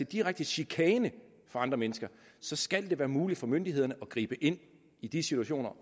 direkte chikane for andre mennesker så skal det være muligt for myndighederne at gribe ind i de situationer